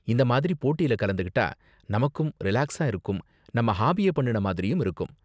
இந்த மாதிரி போட்டில கலந்துக்கிட்டா நமக்கும் ரிலாக்ஸா இருக்கும் நம்ம ஹாபிய பண்ணுன மாதிரியும் இருக்கும்.